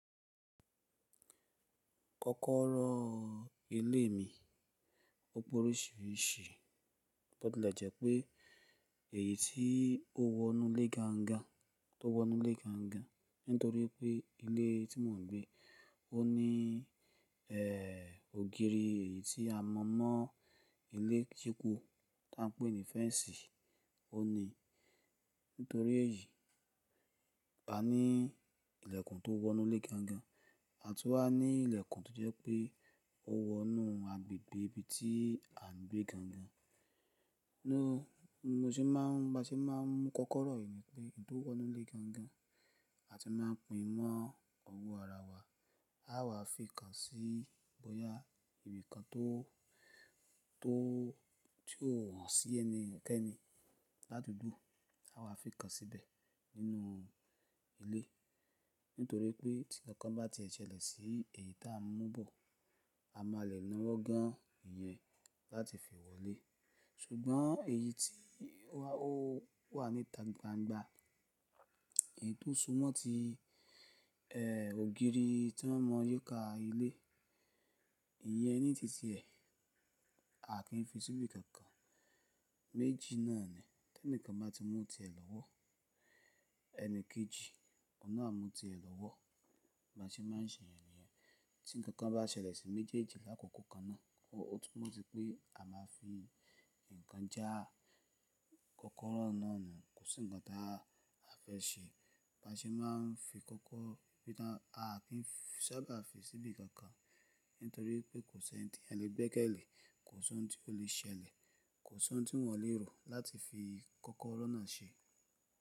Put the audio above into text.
Kọ́kọ́rọ́ ilé mi ó pórí síri ṣí, bó tilẹ̀ jẹ́ pé èyí tí ó wọ inú ilé gangan, tó wọ inú ilé gangan, nítorí pé ilé tí mò ń gbé ó ní, ẹ́, ògiri èyí tí a mọ̀ mọ́ ilé kíkù tí à ń pè ní fẹ́ǹsì, ó ní. Nítorí èyí, a ní ìlẹ̀kùn tó wọ inú ilé gangan, àtú wá ní ìlẹ̀kùn tó jẹ́ pé ó wọ inú agbègbè ibi tí à ń gbé gangan. Nu-- mo se máa ń, bá ṣe máa ń mú kọ́kọ́rọ́ yìí pé èyí tó wọ inú ilé gangan àti máa pín in mọ́ ọwọ ara wa, á wà fi kan sí bóyá ibi kan tó, tó, tí ó o sí ẹni kẹ́ẹ́ni ládugbó, á wà fi kan síbẹ̀ nínú ilé. Nítorí pé tí nkán bá ti ẹ̀ ṣẹlẹ̀ sí èyí tí à ń mú bọ̀, a máa lọ na wọ́gán ìyẹn láti fi wọlé. Ṣùgbọ́n èyí tí wà, ó wà ní tagbangba, èyí tó súmọ́ ti, ẹ́, ògiri tí wọ́n mọ yíká ilé, ìyẹn ní tìtì ẹ̀, a kì í fi síbi kankan. Méjì náà ni, tí ẹnìkan bá ti mú tirẹ̀ lọ́wọ́, ẹni kejì o náà mú tirẹ̀ lọ́wọ́. Bá ṣe máa ń ṣe yẹn ni yẹn. Tí nkán bá ṣẹlẹ̀ sí méjèèjì l'àkọ̀kọ̀ kan náà, ó túmọ̀ tí pé a máa fi nǹkan já kọ́kọ́rọ́ náà nù. Kò sí ǹkan tí a fẹ́ ṣe. Bá ṣe máa ń fi kọ́kọ́, bí i náà, a kì í sábà fi síbi kankan nítorí pé kò sí ẹni tí èèyàn le gbẹkẹ lé, kò sí ohun tí ó lè ṣẹlẹ̀, kò sí ohun tí wọ́n o lè rò láti fi kọ́kọ́rọ́ náà ṣe.